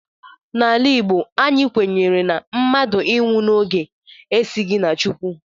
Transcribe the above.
N'ala Igbo, anyị kwenyere na mmadụ ịnwụ n'oge esighi na Chukwu